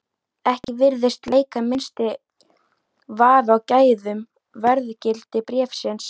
Ekki virðist leika minnsti vafi á gæðum og verðgildi bréfsins.